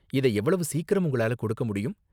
இதை எவ்வளவு சீக்கிரம் உங்களால கொடுக்க முடியும்?